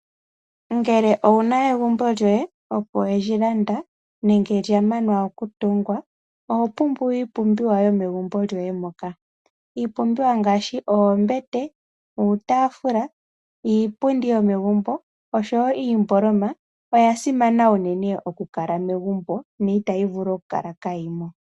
Ngele owu na egumbo lyoye opo we li landa nenge lya manwa okutungwa oho pumbwa iipumbiwa yomegumbo lyoye moka. Iipumbiwa ngaashi oombete, uutafula niipundi yomegumbo oshowo iimbolomo oya simana okukala megumbo no itayi vulu okukala kaayimo.